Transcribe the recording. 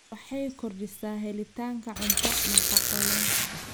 Waxay kordhisaa helitaanka cunto nafaqo leh.